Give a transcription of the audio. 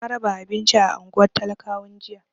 Na raba abinci a unguwar talakawan jiya.